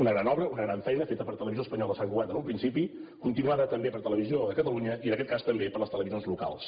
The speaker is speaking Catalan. una gran obra una gran feina feta per televisió espanyola a sant cugat en un principi continuada també per televisió de catalunya i en aquest cas també per les televisions locals